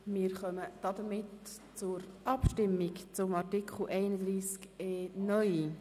Damit kommen wir zur Abstimmung über Artikel 31e (neu).